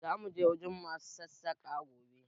Za mu je wurin ma su Sassaƙa gobe